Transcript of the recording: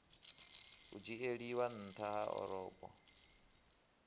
u dzhieliwa nha ha orobo